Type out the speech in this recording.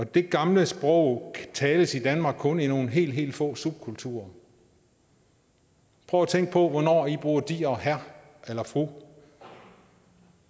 det gamle sprog tales i danmark kun i nogle helt helt få subkulturer prøv at tænke på hvornår i bruger de herre herre eller fru